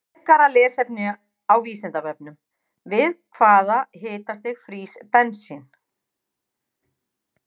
Frekara lesefni á Vísindavefnum: Við hvaða hitastig frýs bensín?